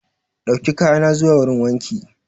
Dauki kaya na zuwa wurin wanki.